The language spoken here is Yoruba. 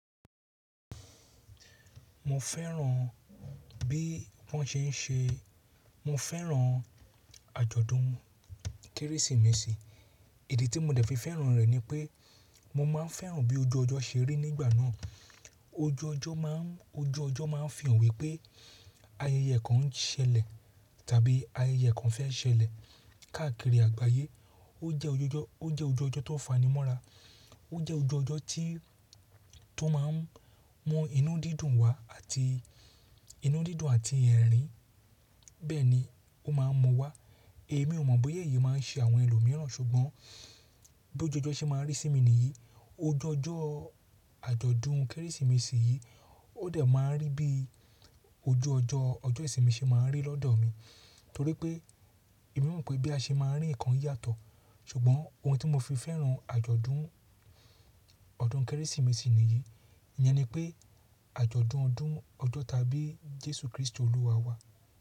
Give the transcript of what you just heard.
Mo fẹ́ràn bí wọ́n ṣe ń ṣe, mo fẹ́ràn àjọ̀dún Kérésìmesì. Idi tí mo dẹ̀ fi fẹ́ràn rẹ̀ ni pé mo máa ń fẹ́ràn bí ojú ọjọ́ ṣe rí nígbà náà. Ojú ọjọ́ má ń, ojú ọjọ́ má ń fi hàn wípé ayẹyẹ kan ń ṣẹlẹ̀ tàbí ayẹyẹ kan fẹ́ ṣẹlẹ̀ káàkiri àgbáyé. Ó jẹ́ ojú ọjọ́, ó jẹ́ ojú ọjọ́ tó fanimọ́ra. Ó jẹ́ ojú ọjọ́ tí, tó má ń mú inú dídùn wá àti inú dídùn àti ẹ̀rín. Bẹ́ẹ̀ ni ó má ń mú wá. Èmi ò mọ̀ bóyá èyí máa ń ṣe àwọn ẹlòmíràn ṣùgbọ́n bí ojú ọjọ́ ṣe máa ń rí sí mi nìyí. Ojú ọjọ́ àjọ̀dún Kérésìmesì yìí ó dẹ̀ máa ń rí bí ojú ọjọ́, ọjọ́ ìsinmi ṣe máa ń rí lọ́dọ̀ mi. Torí pé èmi mọ̀ pé bí a ṣe máa ń rí nǹkan yàtọ̀. Ṣùgbọ́n ohun tí mo fi fẹ́ràn àjọ̀dún ọdún Kérésìmesì nìyí, ìyẹn ni pé àjọ̀dún ọdún ọjọ́ tàbí Jésù Kristi olúwa wa.